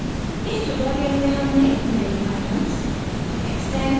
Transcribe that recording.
इस ट्यूटोरियल में हमने मैन्यू आइटम्स